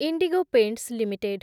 IndiGo paints limited